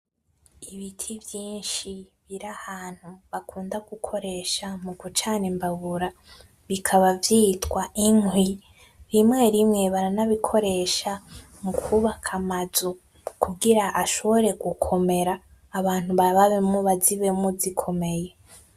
Ibiti vyinshi biri ahantu bakunda gukoresha mu gucana imbabura bikaba vyitwa inkwi, rimwe rimwe baranabikoresha mu kwubaka amazu ,kugira ashobore gukomera abantu babayemwo bazibemwo zikomeye.